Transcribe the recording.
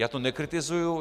Já to nekritizuji.